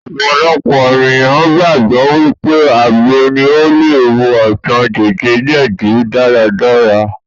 Ọ̀pọ̀lọpọ̀ ènìyàn gbàgbọ́ wípé àgbo ní o le wo àìsàn jẹdíjẹdí dáradára.